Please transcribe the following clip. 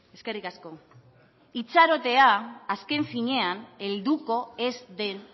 eskerrik asko itxarotea azken finean helduko ez den